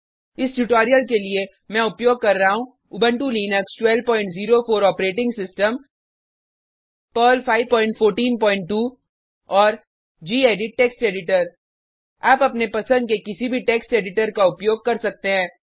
इस ट्यूटोरियल के लिए मैं उपयोग कर रहा हूँ Ubuntu Linux 1204 operating system Perl 5142 और गेडिट टेक्स्ट एडिटर आप अपने पसंद के किसी भी टेक्स्ट एडिटर का उपयोग कर सकते हैं